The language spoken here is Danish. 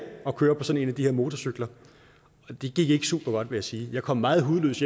at køre på sådan en af de her motorcykler det gik ikke super godt vil jeg sige jeg kom meget hudløs